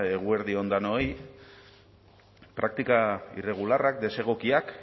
eguerdi on denoi praktika irregularrak desegokiak